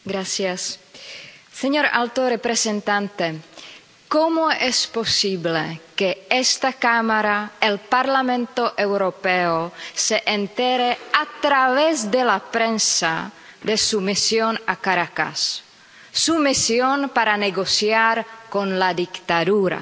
Señor presidente, señor alto representante, ¿cómo es posible que esta Cámara, el Parlamento Europeo, se entere a través de la prensa de su misión a Caracas, su misión para negociar con la dictadura?